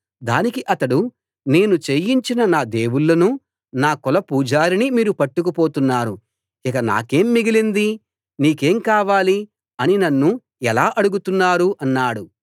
దానికి అతడు నేను చేయించిన నా దేవుళ్ళనూ నా కుల పూజారినీ మీరు పట్టుకుపోతున్నారు ఇక నాకేం మిగిలింది నీకేం కావాలి అని నన్ను ఎలా అడుగుతున్నారు అన్నాడు